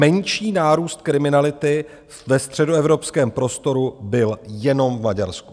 Menší nárůst kriminality ve středoevropském prostoru byl jenom v Maďarsku.